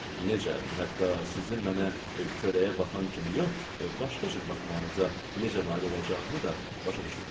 Necə, hətta sizin mənə köləyə baxan kimi yox, başqa cür baxmağınıza necə nail olacağımı da başa düşmürsüz?